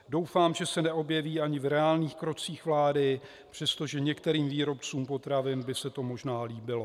Doufám, že se neobjeví ani v reálných krocích vlády, přestože některým výrobcům potravin by se to možná líbilo.